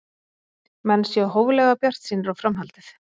Menn séu hóflega bjartsýnir á framhaldið